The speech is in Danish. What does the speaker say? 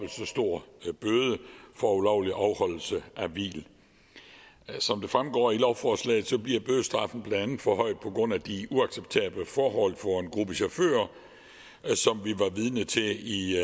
stor bøde for ulovlig afholdelse af hvil som det fremgår af lovforslaget bliver bødestraffen blandt andet forhøjet på grund af de uacceptable forhold for en gruppe chauffører som vi var vidne til i